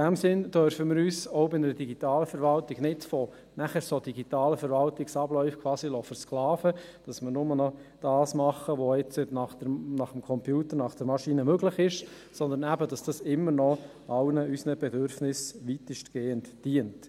In diesem Sinn dürfen wir uns auch bei einer digitalen Verwaltung nicht von solchen digitalen Verwaltungsabläufen quasi versklaven lassen, sodass wir nur noch das tun, was jetzt gemäss dem Computer, der Maschine, möglich ist, sondern dass es immer noch all unseren Bedürfnissen weitestgehend dient.